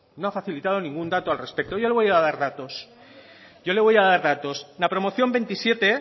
no ha facilitado ningún dato al respecto le voy a dar datos yo le voy a dar datos en la promoción veintisiete